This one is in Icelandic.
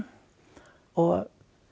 og